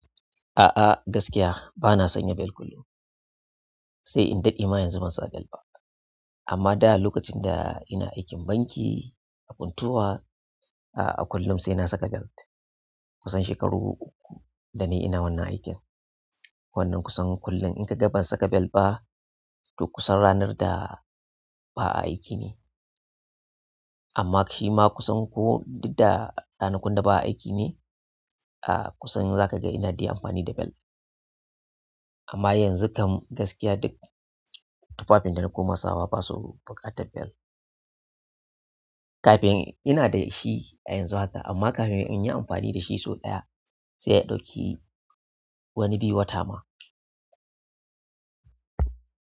A'a gaskiya bana sanya bel kullum, sai in daɗe ma yanzu ban sa bel ba. Amma da lokacin da ina aikin banki a Funtua, a'a kullum sai na saka belt. Kusan shekaru uku da nayi ina wannan aikin. Wannan kusan kullum in ka ga ban saka bel ba, to kusan ranar da ba aiki ne. Amma shi ma kusan ko duk da ranakun da ba'a aiki ne, a'a kusan za ka ga ina dai amfani da belt. Amma yanzu kam gaskiya duk, tufafin da na koma sawa basu buƙatar belt. Kafin ina da shi a yanzu haka, amma kafin in yi amfani da shi sau ɗaya, sai ya ɗauki wani bi wata ma.